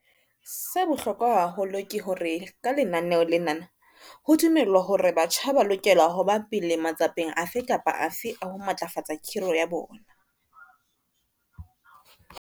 Sa bohlokwa haholo ke hore ka lenaneo lena ho dumelwa hore batjha ba lokela ho ba pele matsapeng afe kapa afe a ho matlafatsa khiro ya bona.